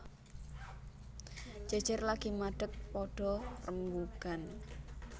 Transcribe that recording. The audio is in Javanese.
Jejer lagi madeg padha rembugan